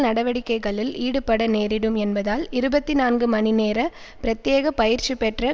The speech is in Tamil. நடவடிக்கைகளில் ஈடுபட நேரிடும் என்பதால் இருபத்தி நான்கு மணிநேர பிரத்தியேக பயிற்சிபெற்ற